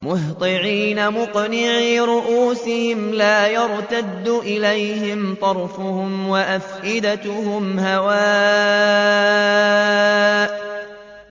مُهْطِعِينَ مُقْنِعِي رُءُوسِهِمْ لَا يَرْتَدُّ إِلَيْهِمْ طَرْفُهُمْ ۖ وَأَفْئِدَتُهُمْ هَوَاءٌ